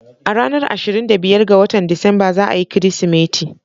A ranar ashirin da biyar ga Disamba za a yi Kirsimeti.